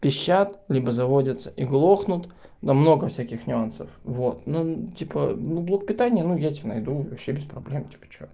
пищат либо заводятся и глохнут но много всяких нюансов вот ну типа блок ну питания ну я тебе найду вообще без проблем типа что